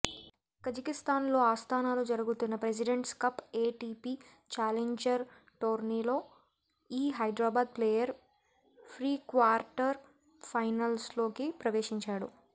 కజకిస్తాన్లోని అస్తానాలో జరుగుతున్న presidents cup ATP challenger టోర్నీలో ఈ హైద్రాబాద్ ప్లేయర్ ఫ్రీక్వార్టర్ ఫైనల్లోకి ప్రవేశించాడు